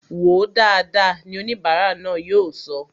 Wòó dáadáa! ni oníbara náà yóò sọ